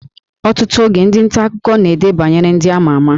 Ọtụtụ oge, ndị nta akụkọ na-ede banyere ndị a ma ama